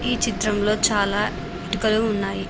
ఈ చిత్రంలో చాలా ఇటుకలు ఉన్నాయి.